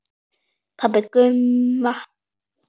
Pabbi Gumma!